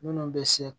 Minnu bɛ se